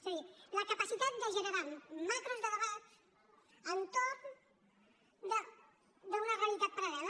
és a dir la capacitat de generar macros de debat entorn d’una realitat paral·lela